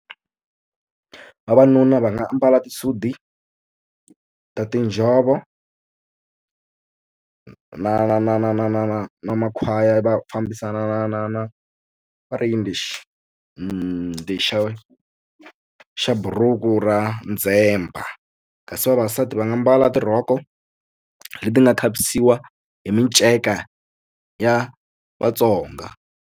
Vavanuna va nga ambala tisudi ta tinjhovo na na na na na na na na makhwaya va fambisana na na na va ri yini lexi lexa xa buruku ra ndzhemba kasi vavasati va nga mbala tirhoko leti nga khavisiwa hi miceka ya Vatsonga.